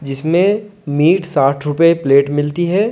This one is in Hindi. जिसमें मीट साठ रुपये प्लेट मिलती है।